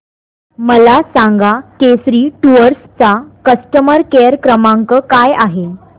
मला सांगा केसरी टूअर्स चा कस्टमर केअर क्रमांक काय आहे